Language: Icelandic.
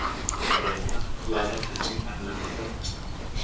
Bretar laða til sín erlenda fjárfesta